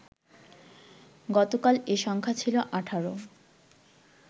গতকাল এ সংখ্যা ছিল ১৮